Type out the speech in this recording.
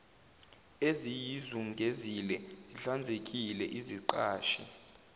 eziyizungezile zihlanzekile iziqashi